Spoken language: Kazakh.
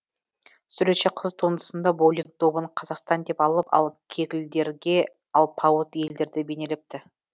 суретші қыз туындысында боулинг добын қазақстан деп алып ал кеглдерге алпауыт елдерді бейнелепті